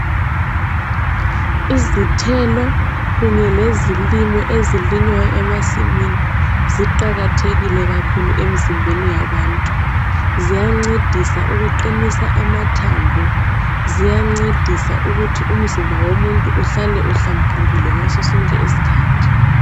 Izithelo kunye lezilimo ezilinywayo emasimini, ziqakathekile kakhulu emzimbeni yabantu. Ziyancedisa ukuqinisa amathambo , ziyancedisa ukuthi umzimba womuntu uhlale uhlambulukile ngaso sonke isikhathi.